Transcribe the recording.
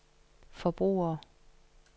forbrugere